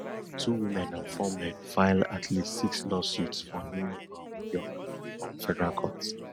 two women and four men file at least six lawsuits for new um york um federal court